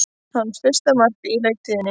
Hans fyrsta mark á leiktíðinni